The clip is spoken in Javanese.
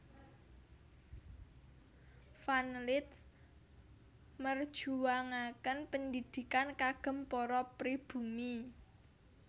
Van Lith merjuwangaken pendhidhikan kagem para pribumi